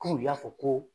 Ko u y'a fɔ ko